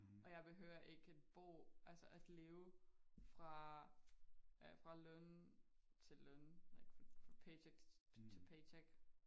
Og jeg behøver ikke at bo altså at leve fra løn til løn like from paycheck to paycheck